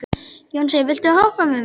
Jónsi, viltu hoppa með mér?